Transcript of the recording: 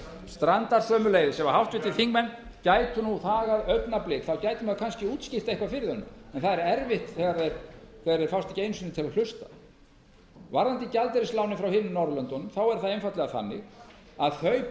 strandar sömuleiðis ef háttvirtir þingmenn gætu nú þagað augnablik þá gæti maður kannski útskýrt eitthvað fyrir þeim en það er erfitt þegar þeir fást ekki einu sinni til að hlusta varðandi gjaldeyrislánin frá hinum norðurlöndunum er það einfaldlega þannig að þau